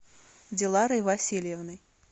диларой васильевной